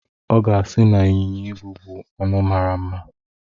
Ọ ga-asị na ịnyịnya ibu bu anụ mara mma.